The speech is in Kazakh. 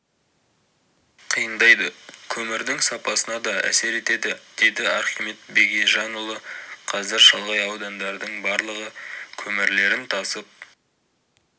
қиындайды көмірдің сапасына да әсер етеді деді архимед бегежанұлы қазір шалғай аудандардың барлығы көмірлерін тасып